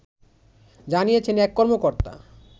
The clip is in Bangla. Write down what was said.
জানিয়েছেন এক কর্মকর্তা